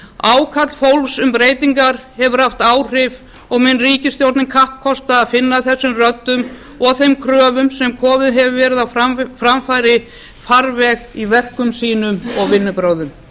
ákall fólks um breytingar hefur haft áhrif og mun ríkisstjórnin kappkosta að finna þessum röddum og þeim kröfum sem komið hefur verið á framfæri farveg í verkum sínum og vinnubrögðum